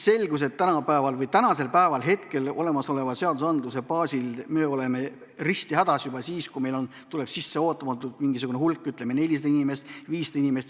Selgus, et olemasoleva seadustiku korral me oleme püstihädas juba siis, kui meile tuleb ootamatult sisse mingisugune hulk, ütleme, 400 või 500 inimest.